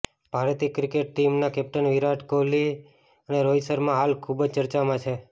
ભારતીય ક્રિકેટ ટીમના કેપ્ટન વિરાટ કોહલી અને રોહિત શર્મા હાલ ખુબ જ ચર્ચામાં છે